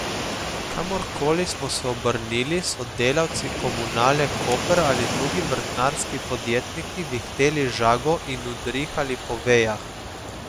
Kamorkoli smo se obrnili, so delavci Komunale Koper ali drugi vrtnarski podjetniki vihteli žago in udrihali po vejah.